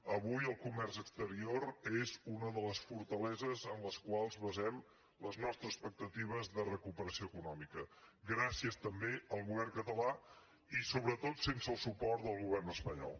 avui el comerç exterior és una de les fortaleses en les quals basem les nostres expectatives de recuperació econòmica gràcies també al govern català i sobretot sense el suport del govern espanyol